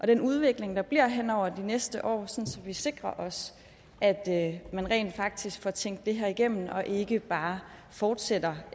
den udvikling der bliver henover de næste år så vi sikrer os at at man rent faktisk får tænkt det her igennem og ikke bare fortsætter